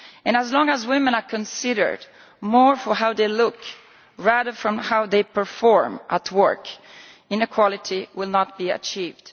As long as women are considered more for how they look than for how they perform at work, inequality will not be achieved.